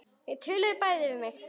Þau töluðu bæði við mig.